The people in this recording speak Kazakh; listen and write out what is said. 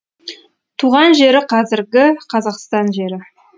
туған жері қазіргі қазақстан жері